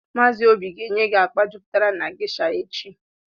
Maazị Obi ga enye gị akpa jupụtara na geisha echi